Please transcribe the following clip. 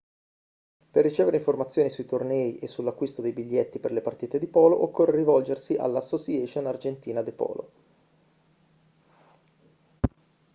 per ricevere informazioni sui tornei e sull'acquisto dei biglietti per le partite di polo occorre rivolgersi alla asociacion argentina de polo